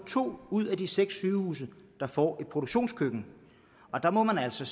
to ud af de seks sygehuse der får et produktionskøkken der må man altså